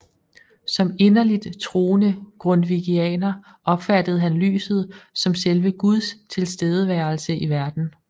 Som inderligt troende grundtvigianer opfattede han lyset som selve Guds tilstedeværelse i verden